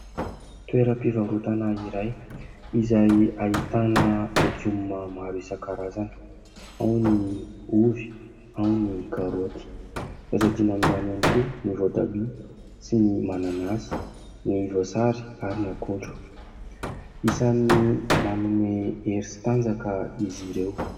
Toera-pivarotana iray izay ahitana legioma maro isan-karazany, ao ny ovy, ao ny karoty tsy azo adino amin'izany ihany koa ny voatabia sy ny mananasy, ny voasary ary ny akondro ; isany manome hery sy tanjaka izy ireo.